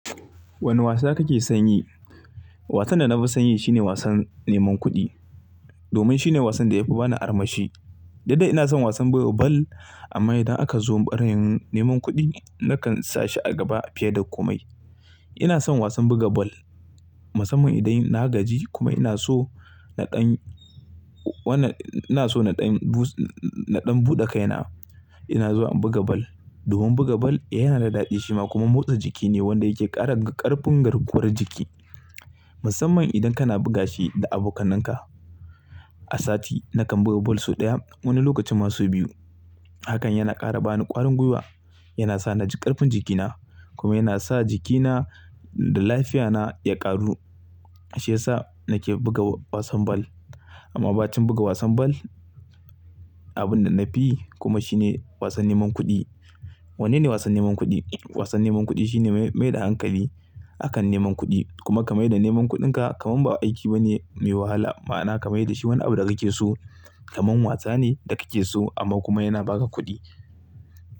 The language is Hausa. Wane wasa kake son yi? Wasan da na fi son yi shine wasan neman kuɗi, domin shine wasan da ya fi ba ni armashi. Dukda ina son wasan buga bal amma idan aka zo a bayanin neman kuɗi, nakan sa shi a gaba fiye da komai. Ina son wasan buga bal, musamman idan na gaji kuma ina so naɗan, wannan ina so naɗan buɗa kaina, ina zuwa in buga ball. Domin buga ball yana da daɗi shima kuma motsa jiki ne wanda yake ƙara ƙarfin garkuwar jiki, musamman idan kana buga shi da abokananka. A sati nakan buga bal sau ɗaya, wani lokacin ma sau biyu. Hakan yana ƙara bani ƙwarin gwiwa, yana sa ƙarfin jikina kuma yana sa jikina da lafiyana ya ƙaru, shi ya sa nake buga wasan ball. Amma ba cikin buga wasan ball, abin da na fi kuma shine wasan neman kuɗi. Wanne ne wasan neman kuɗi? Wasan neman kuɗi shine mai da hankali a kan neman kuɗi kuma ka mai da neman kuɗinka kamar ba aiki bane mai wahala, ma'ana ka mai da shi wani abu da kake so kamar wasa ne da kake so amma kuma yana ba ka kuɗi.